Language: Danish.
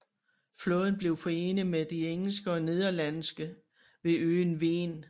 Flåden blev forenet med de engelske og nederlandske ved øen Ven